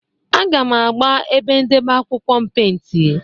Aga m agba ebe ndebe akwụkwọ m pentị.